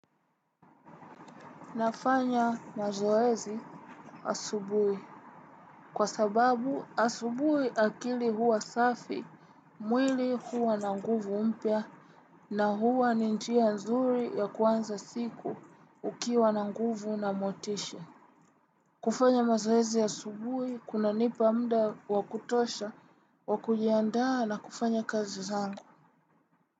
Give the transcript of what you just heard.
Nafanya mazoezi asubuhi. Kwa sababu asubuhi akili huwa safi, mwili huwa na nguvu mpya, na huwa ni njia nzuri ya kuanza siku ukiwa na nguvu na motisha. Kufanya mazoezi asubuhi kunanipa muda wa kutosha wa kujiandaa na kufanya kazi zangu.